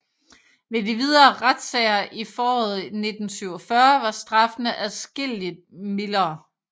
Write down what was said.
Ved de videre retssager i foråret 1947 var straffene adskillig mildere